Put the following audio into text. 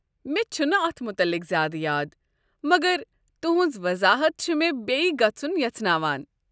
مےٚ چھنہٕ اتھ متعلق زیادٕ یاد، مگر تُہنٛز وضاحت چھ مےٚ بیٚیہِ گژھُن یژھناوان۔